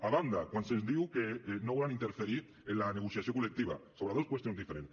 a banda quan se’ns diu que no volen interferir en la negociació col·lectiva sobre dos qüestions diferents